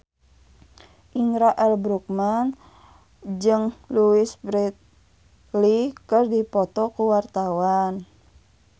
Indra L. Bruggman jeung Louise Brealey keur dipoto ku wartawan